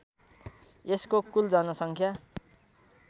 यसको कुल जनसङ्ख्या